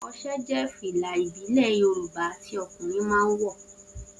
Oṣé jẹ́ fìlà ìbílẹ̀ Yorùbá tí ọkùnrin máa ń wọ̀